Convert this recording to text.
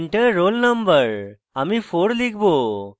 enter roll no: আমি 4 লিখব